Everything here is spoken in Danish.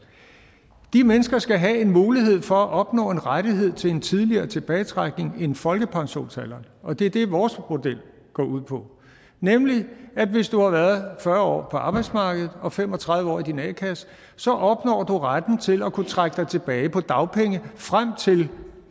år de mennesker skal have en mulighed for at opnå en rettighed til en tidligere tilbagetrækning end folkepensionsalderen og det er det vores model går ud på nemlig at hvis du har været fyrre år på arbejdsmarkedet og fem og tredive år i din a kasse så opnår du retten til at kunne trække dig tilbage på dagpenge frem til